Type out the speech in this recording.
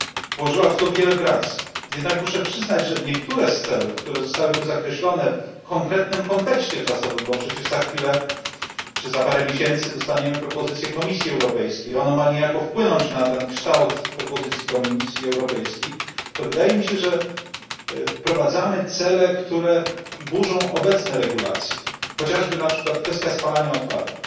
Włożyła w to wiele pracy, jednak muszę przyznać, że niektóre z celów, które zostały tu zakreślone w konkretnym kontekście czasowym bo przecież za chwilę czy za parę miesięcy dostaniemy propozycję Komisji Europejskiej ono ma niejako wpłynąć na kształt propozycji Komisji Europejskiej, to wydaje mi się, że wprowadzamy cele, które burzą obecne regulacje, chociażby kwestia spalania odpadów